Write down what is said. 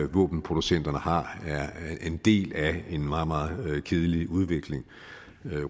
våbenproducenterne har er en del af en meget meget kedelig udvikling